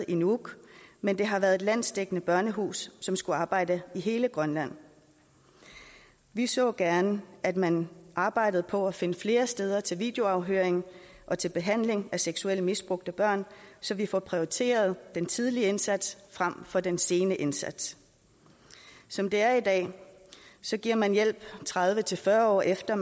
i nuuk men det har været et landsdækkende børnehus som skulle arbejde i hele grønland vi så gerne at man arbejdede på at finde flere steder til videoafhøring og til behandling af seksuelt misbrugte børn så vi får prioriteret den tidlige indsats frem for den sene indsats som det er i dag giver man hjælp tredive til fyrre år efter at